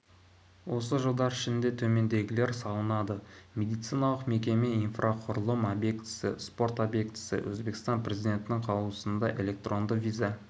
осы жылдар ішінде төмендегілер салынды медициналық мекеме инфрақұрылым объектісі спорт объектісі өзбекстан президентінің қаулысында электронды виза